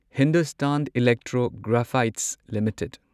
Hindustan electro graphites limited